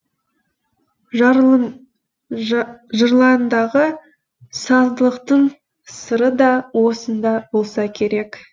жырларындағы саздылықтың сыры да осында болса керек